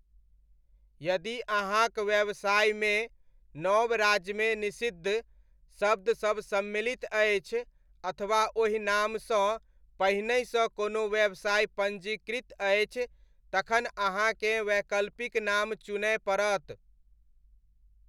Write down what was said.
यदि अहाँक व्यवसायमे, नव राज्यमे निषिद्ध शब्दसब सम्मिलित अछि अथवा ओहि नामसँ पहिनहिसँ कोनो व्यवसाय पञ्जीकृत अछि तखन अहाँकेँ वैकल्पिक नाम चुनय पड़त।